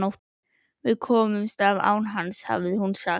Við komumst af án hans hafði hún sagt.